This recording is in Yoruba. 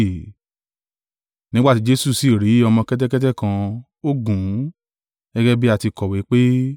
Nígbà tí Jesu sì rí ọmọ kẹ́tẹ́kẹ́tẹ́ kan, ó gùn ún; gẹ́gẹ́ bí a ti kọ̀wé pé,